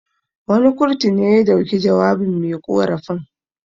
Wani kurtu ne ya dauki jawabin me ƙorafin.